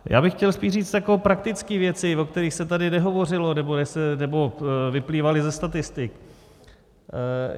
Já bych chtěl spíš říct takové praktické věci, o kterých se tady nehovořilo nebo vyplývaly ze statistik.